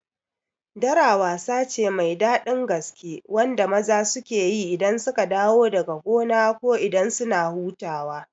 Dara wasa ce mai daɗi gaske wanda maza suke yi idan suka dawo daga gona ko idan suna hutawa